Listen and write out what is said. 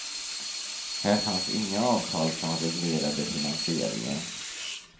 Här fanns inga avtal som reglerade finansieringen.